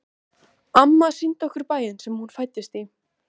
Amma sýndi okkur bæinn sem hún fæddist í.